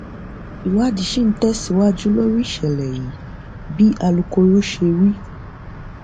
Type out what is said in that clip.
ìwádìí ṣì ń tẹsíwájú lórí ìṣẹlẹ yìí bí alūkkoro ṣe wí